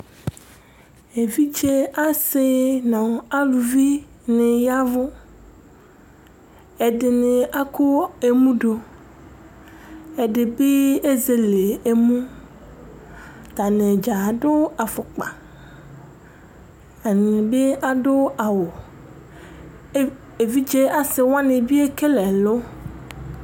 evidze ase no aluvi ni yavò ɛdini akɔ emu do ɛdi bi ezele emu atani dza ado afɔkpa ɛdini bi ado awu evidze ase wani bi ekele ɛlo